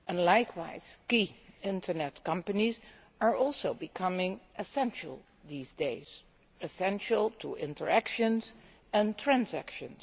Likewise, key internet companies are also becoming essential these days to interactions and transactions.